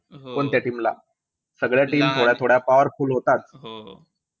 कोणत्या team ला? सगळ्या team थोड्या-थोड्या powerful होतात.